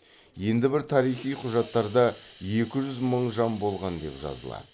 енді бір тарихи құжаттарда екі жүз мың жан болған деп жазылады